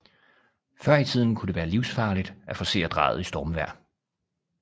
Før i tiden kunne det være livsfarligt at forcere Drejet i stormvejr